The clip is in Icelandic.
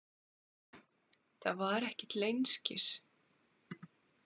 Það var ekki til einskis.